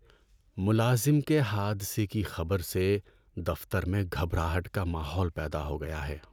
ملازم کے حادثے کی خبر سے دفتر میں گھبراہٹ کا ماحول پیدا ہو گیا ہے۔